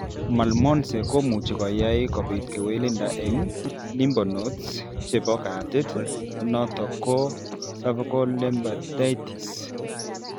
Malmoense komuchi koyai kobit kewelindo eng' lymphnodes chebo katit notok ko cervical lymphadenitis.